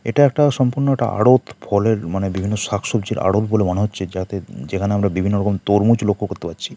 এটা একটা সম্পূর্ণটা আড়ৎ। ফলের মানে বিভিন্ন শাক সবজির আড়ৎ বলে মনে হচ্ছে। যাতে যেখানে আমরা বিভিন্ন রকম তরমুজ লক্ষ্য করতে পারছি।